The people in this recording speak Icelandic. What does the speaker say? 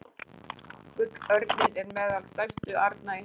Gullörninn er meðal stærstu arna í heimi.